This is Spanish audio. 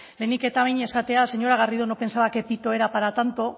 lehenik eta behin esatea señora garrido no pensaba que pito era para tanto